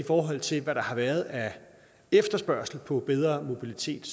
forhold til hvad der har været af efterspørgsel på bedre mobilitet